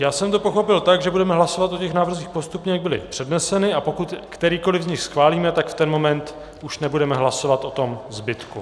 Já jsem to pochopil tak, že budeme hlasovat o těch návrzích postupně, jak byly předneseny, a pokud kterýkoli z nich schválíme, tak v ten moment už nebudeme hlasovat o tom zbytku.